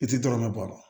I ti dɔrɔnɛ bɔ a la